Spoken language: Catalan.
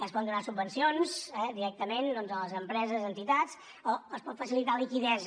es poden donar subvencions directament a les empreses entitats o es pot facilitar liquiditat